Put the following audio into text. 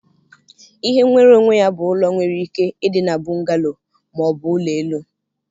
Ihe nwere onwe ya bụ ụlọ nwere ike ịdị na bungalow ma ọ bụ ụlọ elu